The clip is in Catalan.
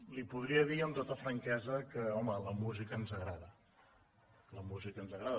li podria dir amb tota franquesa que home la música ens agrada la música ens agrada